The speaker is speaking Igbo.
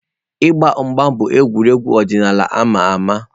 Ịgba mgba bụ egwuregwu ọdịnala ama ama